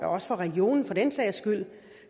og også for regionen for den sags skyld